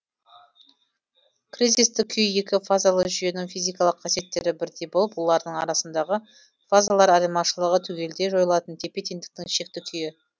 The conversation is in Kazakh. кризистік күй екі фазалы жүйенің физикалық қасиеттері бірдей болып олардың арасындағы фазалар айырмашылығы түгелдей жойылатын тепе теңдіктің шекті күйі